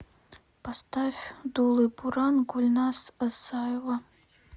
поставь дулый буран гульназ асаева